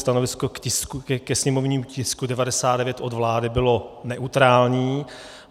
Stanovisko ke sněmovnímu tisku 99 od vlády bylo neutrální.